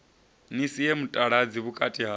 ni sie mutaladzi vhukati ha